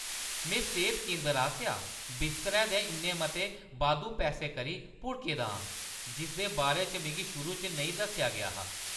में सेह्त केंदरै आसेआ बिस्तरै दे इन्ने मते बाद्धू पैसें करी भुड़के दा आं जिसदे बारे च मिगी शुरू च नेईं दस्सेआ गेआ हा।